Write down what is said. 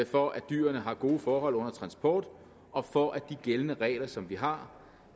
for at dyrene har gode forhold under transport og for at de gældende regler som vi har